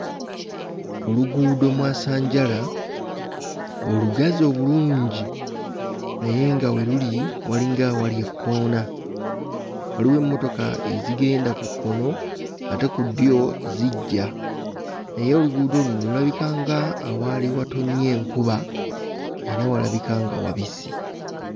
Oluguudo mwasanjala olugazi obulungi naye nga we luli walinga awali ekkoona waliwo emmotoka ezigenda ku kkono ate ku ddyo zijja naye oluguudo luno lulabika nga awaali watonnya enkuba era walabika nga wabisi.